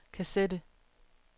kassette